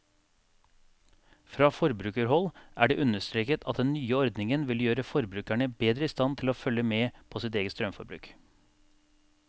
Fra forbrukerhold er det understreket at den nye ordningen vil gjøre forbrukerne bedre i stand til å følge med på eget strømforbruk.